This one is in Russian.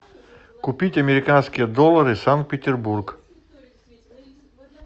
купить американские доллары санкт петербург